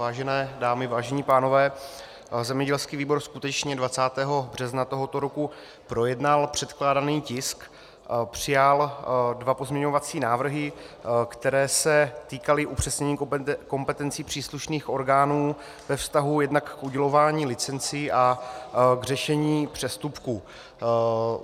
Vážené dámy, vážení pánové, zemědělský výbor skutečně 20. března tohoto roku projednal předkládaný tisk, přijal dva pozměňovací návrhy, které se týkaly upřesnění kompetencí příslušných orgánů ve vztahu jednak k udělování licencí a k řešení přestupků.